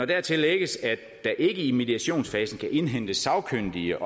dertil lægges at der ikke i mediationsfasen kan indhentes sagkyndige